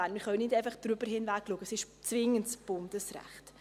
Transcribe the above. Wir können nicht einfach darüber hinwegsehen, denn es ist zwingendes Bundesrecht.